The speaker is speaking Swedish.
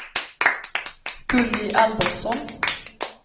Gulli Albertsson